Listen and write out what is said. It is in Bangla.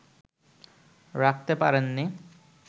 রাখতে পারেন নি